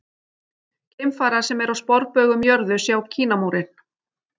Geimfarar sem eru á sporbaug um jörðu sjá Kínamúrinn.